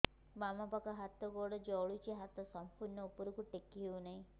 ବାମପାଖ ହାତ ଗୋଡ଼ ଜଳୁଛି ହାତ ସଂପୂର୍ଣ୍ଣ ଉପରକୁ ଟେକି ହେଉନାହିଁ